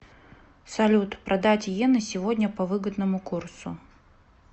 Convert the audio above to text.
салют продать йены сегодня по выгодному курсу